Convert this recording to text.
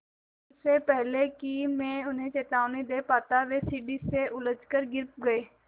इससे पहले कि मैं उन्हें चेतावनी दे पाता वे सीढ़ी से उलझकर गिर गए